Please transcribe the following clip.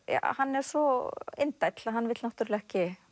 hann er svo indæll að hann vill náttúrulega ekki